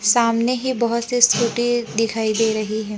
सामने ही बहुत से स्कूटी दिखाई दे रही है।